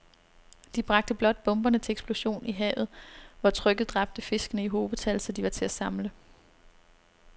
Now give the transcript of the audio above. De bragte blot bomberne til eksplosion i havet, hvor trykket dræbte fiskene i hobetal, så de var til at samle